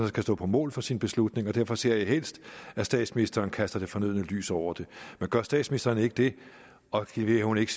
skal stå på mål for sin beslutning og derfor ser jeg helst at statsministeren kaster det fornødne lys over det men gør statsministeren ikke det og leverer hun ikke